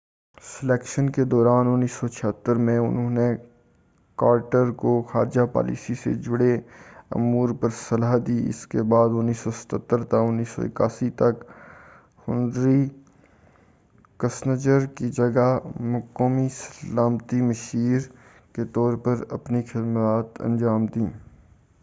Selection کے دوران 1976 میں انہوں نے کارٹر کو خارجہ پالیسی سے جڑے امور پر صلاح دی، اس کے بعد 1977 تا1981 تک ہنری کسنجر کی جگہ قومی سلامتی مشیر این ایس اے کے طور پر اپنی خدمات انجام دیں۔